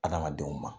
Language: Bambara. Adamadenw ma